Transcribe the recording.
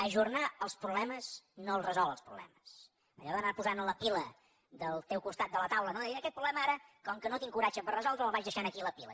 ajornar els problemes no els resol els problemes allò d’anar posant a la pila del teu costat de la taula no aquest problema ara com que no tinc coratge per resoldre’l el vaig deixant aquí a la pila